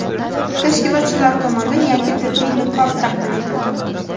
tashkilotchilar tomonidan yangi tibbiy niqob taqdim etildi.